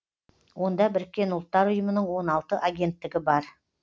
онда біріккен ұлттар ұйымының он алты агенттігі бар